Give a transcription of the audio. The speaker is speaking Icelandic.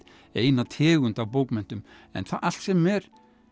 eina tegund af bókmenntum en allt sem er